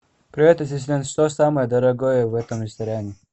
привет ассистент что самое дорогое в этом ресторане